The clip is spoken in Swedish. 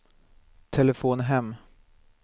telefon hem